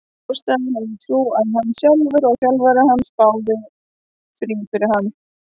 Ástæðan er sú að hann sjálfur og þjálfari hans báðu um frí fyrir hann.